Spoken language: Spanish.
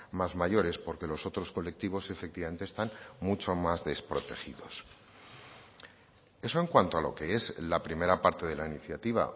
más mayores porque los otros colectivos efectivamente están mucho más desprotegidos eso en cuanto a lo que es la primera parte de la iniciativa